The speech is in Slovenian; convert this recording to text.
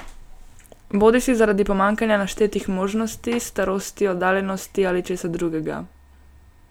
Bodisi zaradi pomanjkanja naštetih možnosti, starosti, oddaljenosti ali česa drugega.